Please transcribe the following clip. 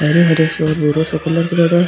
हरो हरो सो भूरो सो कलर करेडो है।